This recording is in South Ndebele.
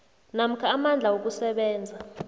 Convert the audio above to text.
namkha amandla wokusebenza